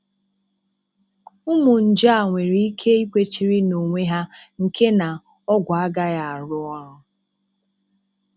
Ụmụ nje a nwereike ikwechiri n'onwe ha nke na ọ́gwụ̀ agaghị arụ ọrụ.